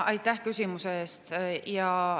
Aitäh küsimuse eest!